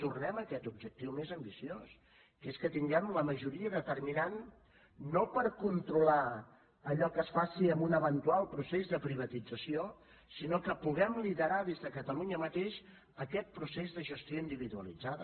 tornem a aquest objectiu més ambiciós que és que tinguem la majoria determinant no per controlar allò que es faci en un eventual procés de privatització sinó que puguem liderar des de catalunya mateix aquest procés de gestió individualitzada